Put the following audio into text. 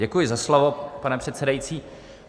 Děkuji za slovo, pane předsedající.